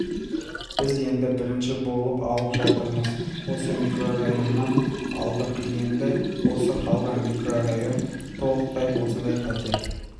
біз енді бірінші болып алып жатырмыз осы микрорайоннан алдық енді осы қалған микрорайон толықтай осындай пәтер